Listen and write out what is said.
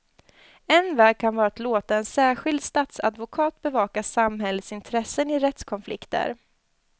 En väg kan vara att låta en särskild statsadvokat bevaka samhällets intressen i rättskonflikter.